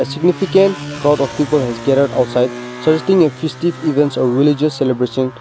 significant crowd of people has gathered outside suggesting a festive event or religious celebration.